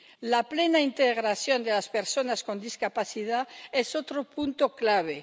La plena integración de las personas con discapacidad es otro punto clave.